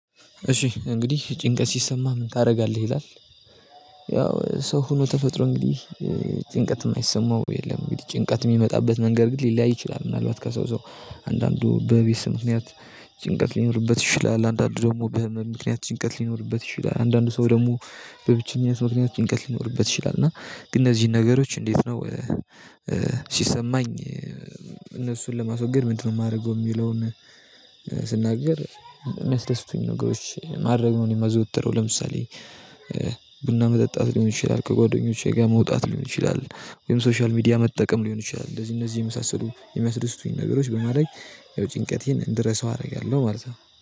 እሺ እንግዲህ ጭንቀት ሲሰማህ ምን ታደርጋለህ? ይላል ያው ሰው ሆኖ ተፈጥሮ እንግዲህ ጭንቀት የማይሰማው የለም እንግዲህ ጭንቀት የሚመጣበት መንገድ ግን ሊለያይ ይችላል ምናልባት ከዛው ሰው አንዳንዱ በቤተሰብ ምክንያት ጭንቀት ሊኖርበት ይችላል አንዳንዱ ደግሞ በህመም ምክንያት ጭንቀት ሊኖርበት ይችላል አንዳንድ ሰው ደግሞ በብቸኝነት ምክንያት ጭንቀት ሊኖርበት ይችላል እና ግን እነዚህን ነገሮች እንዴት ነው ሲሰማኝ እነሱን ለማስወገድ ምንድነው የማደርገው የሚለውን ስናገር የሚያስደስቱኝን ነገሮች ማድረግ ነው እና የማዘወትረው ለምሳሌ መጠጣት ሊሆን ይችላል ከጓደኞቼ ጋር መውጣት ሊሆን ይችላል ወይም ሶሻል ሚዲያ መጠቀም ሊሆን ይችላል እነዚህ እነዚህ የመሳሰሉ የሚያስደስቱኝን ነገሮች በማድረግ ያው ጭንቀቴን እንድረሳው አደርጋለሁ ማለት ነው።